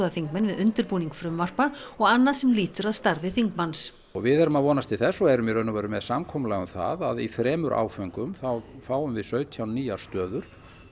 þingmenn við undirbúning frumvarpa og annað sem lítur að starfi þingmanns og við erum að vonast til þess og erum í raun og veru með samkomulag um það að í þremur áföngum þá fáum við sautján nýjar stöður